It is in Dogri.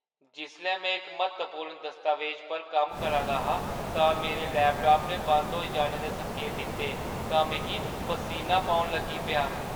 जिसलै में इक म्हत्तवपूर्ण दस्तावेज पर कम्म करा दा हा तां मेरे लैपटाप ने बंद होई जाने दे संकेत दित्ते तां मिगी पसीना पौन लगी पेआ ।